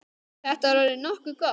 Þetta er orðið nokkuð gott.